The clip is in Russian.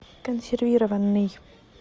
консервированный